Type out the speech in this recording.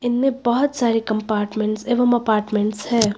में बहुत सारे कंपार्टमेंट्स एवं अपार्टमेंट्स हैं।